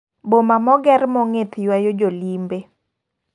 Boma mager mongith ywayo jo limbe.